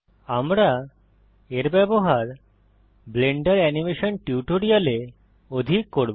আমরা এর ব্যবহার ব্লেন্ডার এনিমেশন টিউটোরিয়ালে অধিক করব